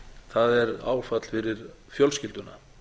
það er áfall fyrir fjölskylduna